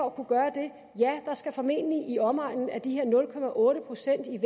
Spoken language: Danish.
at kunne gøre det ja der skal formentlig være i omegnen af de her nul procent i